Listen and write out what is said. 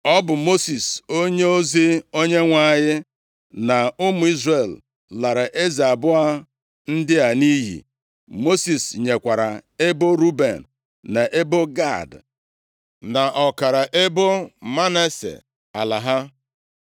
Ọ bụ Mosis onyeozi Onyenwe anyị, na ụmụ Izrel, lara eze abụọ ndị a nʼiyi. Mosis nyekwara ebo Ruben, na ebo Gad, na ọkara ebo Manase ala ha.